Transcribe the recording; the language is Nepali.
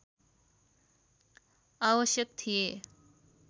आवश्यक थिए